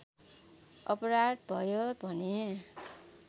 अपराध भयो भने